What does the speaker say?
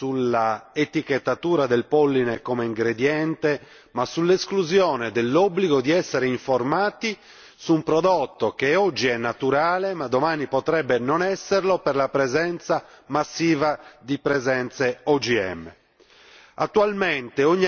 Oggi non si è giocato sull'etichettatura del polline come ingrediente ma sull'esclusione dell'obbligo di essere informati su un prodotto che oggi è naturale ma domani potrebbe non esserlo, per la presenza massiva di presenze OGM.